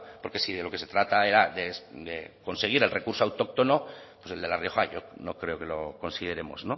porque si de lo que se trata era de conseguir el recurso autóctono pues el de la rioja yo no creo que lo consideremos